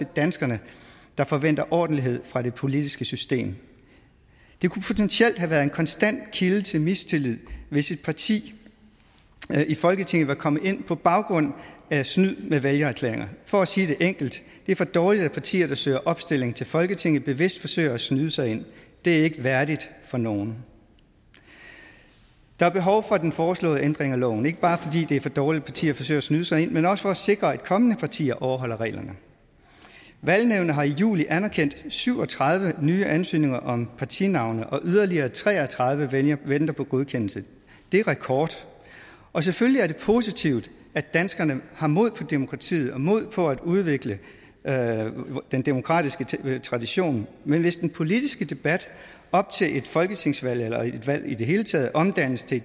danskerne der forventer ordentlighed fra det politiske system det kunne potentielt have været en konstant kilde til mistillid hvis et parti i folketinget var kommet ind på baggrund af snyd med vælgererklæringer for at sige det enkelt det er for dårligt at partier der søger opstilling til folketinget bevidst forsøger at snyde sig ind det er ikke værdigt for nogen der er behov for den foreslåede ændring af loven ikke bare fordi det er for dårligt at partier forsøger at snyde sig ind men også for at sikre at kommende partier overholder reglerne valgnævnet har i juli anerkendt syv og tredive nye ansøgninger om partinavne og yderligere tre og tredive venter på godkendelse det er rekord og selvfølgelig er det positivt at danskerne har mod på demokratiet og mod på at udvikle den demokratiske tradition men hvis den politiske debat op til et folketingsvalg eller et valg i det hele taget omdannes til